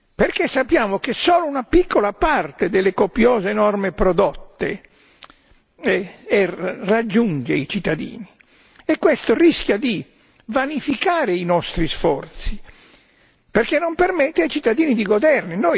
Perché sappiamo che solo una piccola parte delle copiose norme prodotte raggiunge i cittadini e questo rischia di vanificare i nostri sforzi perché non permette ai cittadini di goderne.